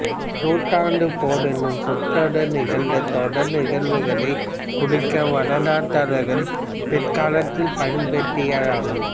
நூறாண்டுப் போர் எனும் சொற்றொடர் நிகழ்ந்த தொடர் நிகழ்வுகளைக் குறிக்க வரலாற்றாளர்கள் பிற்காலத்தில் பயன்படுத்தியது ஆகும்